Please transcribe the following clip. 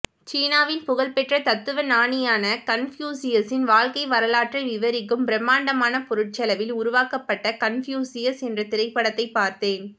சீனாவின் புகழ்பெற்ற தத்துவ ஞானியான கன்பூசியஸின் வாழ்க்கை வரலாற்றை விவரிக்கும் பிரம்மாண்டமான பொருட்செலவில் உருவாக்கபட்ட கன்பூசியஸ் என்ற திரைப்படத்தைப் பார்த்தேன்